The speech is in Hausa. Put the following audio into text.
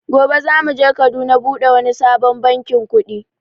Gobe za muje Kaduna buɗe wani sabon bankin kuɗi